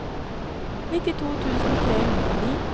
nittito tusen tre hundre og ni